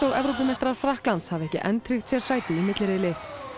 Evrópumeistarar Frakklands hafa ekki enn tryggt sér sæti í milliriðli